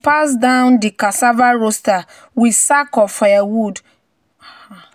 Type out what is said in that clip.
"you no fit inherit farm tools if you no follow work for past harmattan planting time."